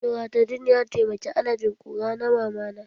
Loratadin ya taimaki alerjin ƙura na Mamana